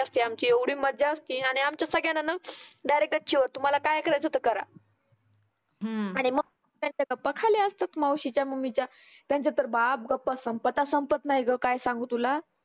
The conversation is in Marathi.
त्यांची एवढी मज्जा असते आमच्या सगळ्यांना ना डायरेक्ट गच्ची वर तुम्हाला काय करायचं तर करा. आणि मग त्यांच्या गप्पा खाली असतात मावशीच्या मम्मीच्या त्यांच्या तर बाप गप्पा संपता संपत नाही गं काय सांगु तुला.